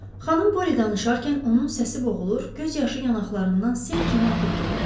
Xanım Poli danışarkən onun səsi boğulur, göz yaşı yanaqlarından sel kimi axıb gedirdi.